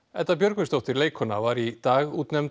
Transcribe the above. Edda Björgvinsdóttir leikkona var í dag útnefnd